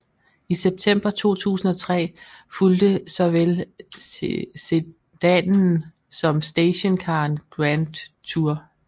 I september 2003 fulgte såvel sedanen som stationcaren Grandtour